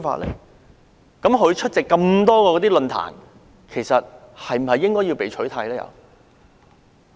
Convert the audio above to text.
他曾出席的多個論壇，是否應該全部被取締？